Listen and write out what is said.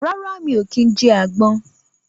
Rárá, mi ò kí ń jẹ àgbon